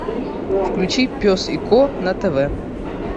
включи пес и ко на тв